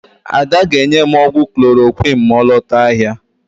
Ada ga-enye m ọgwụ klorokwịn ma ọ lota ahịa.